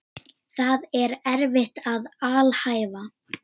Það er erfitt að alhæfa.